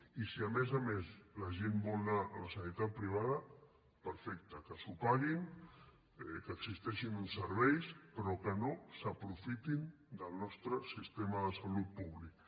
i si a més a més la gent vol anar a la sanitat privada perfecte que s’ho paguin que existeixin uns serveis però que no s’aprofitin del nostre sistema de salut públic